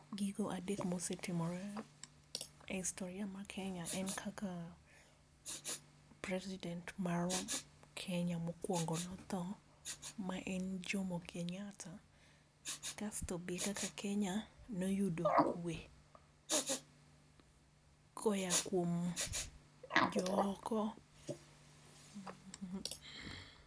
Gigo adek mosetimore e historia ma kenya en kaka president mar kenya mokwongo notho ma en jomo kenyatta kasto be kaka kenya noyudo kwe koya kuom jooko